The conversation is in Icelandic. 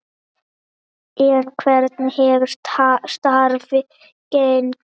En hvernig hefur starfið gengið?